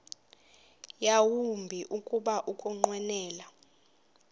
yawumbi kuba ukunqwenela